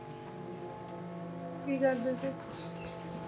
ਕੀ ਕਰਦੇ ਸੀ?